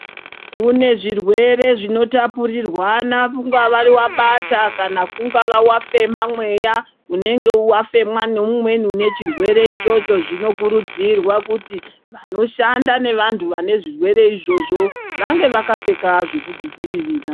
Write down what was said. Kune zvirwere zvinotapurirwana kungava wabata kana kungava wafema mweya unenge wafemwa neumweni unechirwere ichocho zvinokurudzirwa kuti vanoshanda nevanhu vane zvirwere izvozvo vange vakapfeka zvokuzvidzivirira.